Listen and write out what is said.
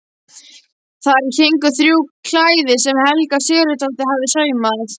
Þar héngu þrjú klæði sem Helga Sigurðardóttir hafði saumað.